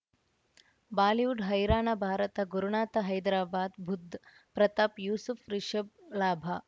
Bollywood ಹೈರಾಣ ಭಾರತ ಗುರುನಾಥ ಹೈದರಾಬಾದ್ ಬುಧ್ ಪ್ರತಾಪ್ ಯೂಸುಫ್ ರಿಷಬ್ ಲಾಭ